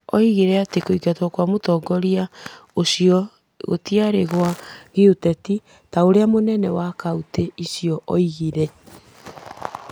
Oigire atĩ kũingatwo kwa mũtongoria ũcio gũtiarĩ gwa gĩũteti ta ũrĩa mũnene wa kauntĩ ũcio oigĩte.